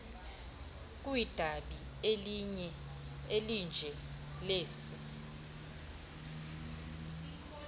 kwidabi elinje lesi